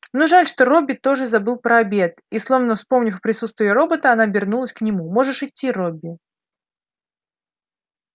ну жаль что робби тоже забыл про обед и словно вспомнив о присутствии робота она обернулась к нему можешь идти робби